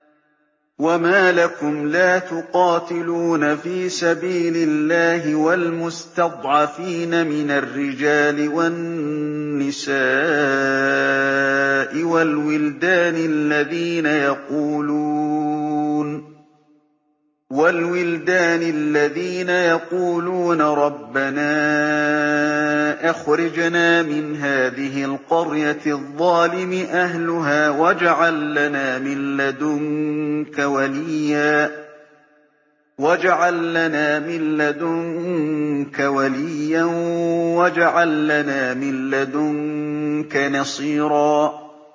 وَمَا لَكُمْ لَا تُقَاتِلُونَ فِي سَبِيلِ اللَّهِ وَالْمُسْتَضْعَفِينَ مِنَ الرِّجَالِ وَالنِّسَاءِ وَالْوِلْدَانِ الَّذِينَ يَقُولُونَ رَبَّنَا أَخْرِجْنَا مِنْ هَٰذِهِ الْقَرْيَةِ الظَّالِمِ أَهْلُهَا وَاجْعَل لَّنَا مِن لَّدُنكَ وَلِيًّا وَاجْعَل لَّنَا مِن لَّدُنكَ نَصِيرًا